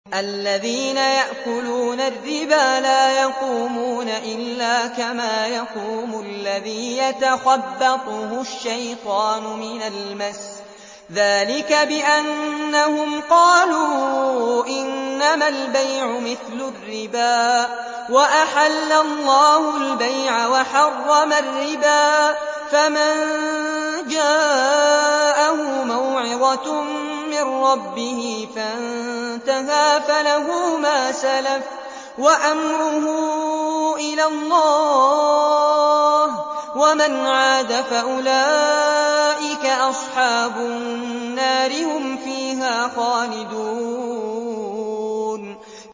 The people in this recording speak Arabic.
الَّذِينَ يَأْكُلُونَ الرِّبَا لَا يَقُومُونَ إِلَّا كَمَا يَقُومُ الَّذِي يَتَخَبَّطُهُ الشَّيْطَانُ مِنَ الْمَسِّ ۚ ذَٰلِكَ بِأَنَّهُمْ قَالُوا إِنَّمَا الْبَيْعُ مِثْلُ الرِّبَا ۗ وَأَحَلَّ اللَّهُ الْبَيْعَ وَحَرَّمَ الرِّبَا ۚ فَمَن جَاءَهُ مَوْعِظَةٌ مِّن رَّبِّهِ فَانتَهَىٰ فَلَهُ مَا سَلَفَ وَأَمْرُهُ إِلَى اللَّهِ ۖ وَمَنْ عَادَ فَأُولَٰئِكَ أَصْحَابُ النَّارِ ۖ هُمْ فِيهَا خَالِدُونَ